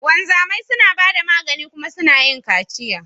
Wanzamai suna ba da magani kuma suna yin kaciya.